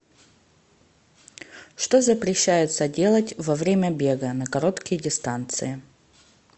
что запрещается делать во время бега на короткие дистанции